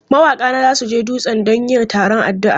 Mawaka na za su je dutse don yin taron addu'a.